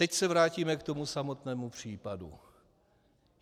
Teď se vrátíme k tomu samotnému případu.